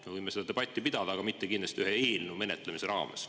Me võime seda debatti pidada, aga mitte kindlasti ühe eelnõu menetlemise raames.